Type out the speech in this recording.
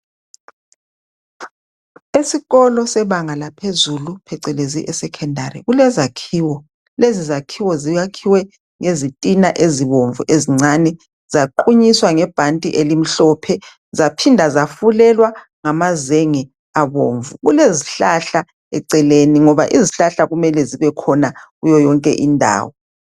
Esikolo sebanga laphezulu phecelezi esecondary kulezakhiwo lezi zakhiwo zakhiwe ngezitina ezibomvu ezincani zaqunyiswa ngebhanti elimhlophe zaphinda zafulelwa ngamazenge abomvu kelezihlahla eceleni ngoba izihlahla kumele zibe khona kuyo yonke indawo